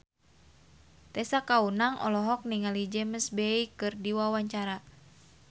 Tessa Kaunang olohok ningali James Bay keur diwawancara